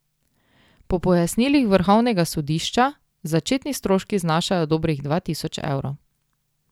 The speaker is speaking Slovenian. Po pojasnilih vrhovnega sodišča začetni stroški znašajo dobrih dva tisoč evrov.